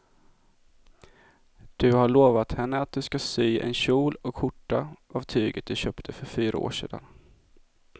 Du har lovat henne att du ska sy en kjol och skjorta av tyget du köpte för fyra år sedan.